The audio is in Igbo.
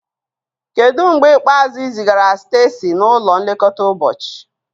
Kedu mgbe ikpeazụ ị zigara Stacy n'ụlọ nlekọta ụbọchị?